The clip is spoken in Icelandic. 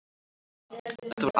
Þetta var amma hans